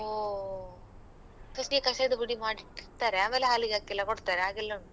ಹೊ first ಗೆ ಕಷಾಯದ ಪುಡಿ ಮಾಡಿಟ್ಟಿರ್ತಾರೆ ಆಮೇಲೆ ಹಾಲಿಗೆ ಹಾಕಿ ಎಲ್ಲ ಕೊಡ್ತಾರೆ ಹಾಗೆಲ್ಲ ಉಂಟು.